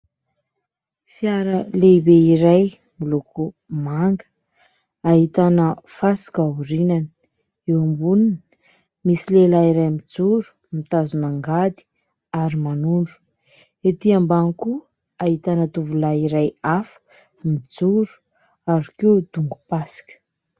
Fiara lehibe iray miloko manga ahitana fasika aorinany, eo amboniny misy lehilahy iray mijoro mitazona angady ary manondro, etỳ ambany koa ahitana tovolahy iray hafa mijoro ary koa dongom-pasika.